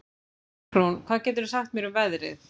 Bergrún, hvað geturðu sagt mér um veðrið?